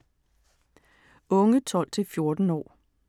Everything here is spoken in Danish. Unge 12-14 år